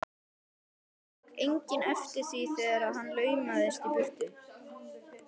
Það tók enginn eftir því þegar hann laumaðist í burtu.